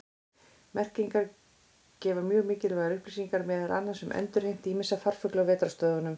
Merkingar gefa mjög mikilvægar upplýsingar meðal annars um endurheimt ýmissa farfugla á vetrarstöðvum.